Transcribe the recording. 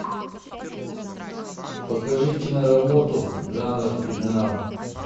покажи киноработу жанр криминал